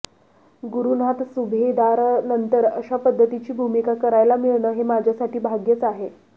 गुरूनाथ सुभेदारनंतर अशा पध्दतीची भुमिका करायला मिळणं हे माझ्यासाठी भाग्याचं आहे